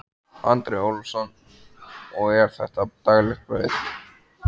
Andri Ólafsson: Og er þetta daglegt brauð?